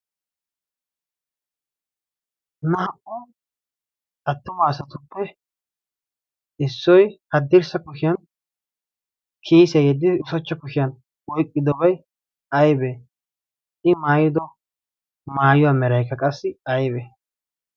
naa'u attuma asatuppe issoi haddirssa kushiyan kiyisiyaa yeddid isochcha kushiyan oyqqidobay aybee i maayido maayuwaa mirayka qassi aybee?